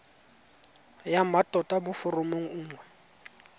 ya mmatota mo foromong nngwe